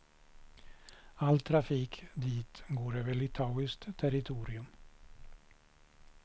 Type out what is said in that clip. All trafik dit går över litauiskt territorium.